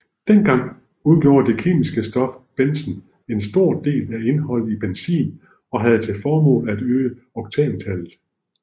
Dengang udgjorde det kemiske stof benzen en stor del af indholdet i benzin og havde til formål at øge oktantallet